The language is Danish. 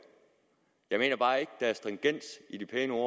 jeg mener bare ikke der er stringens i de pæne ord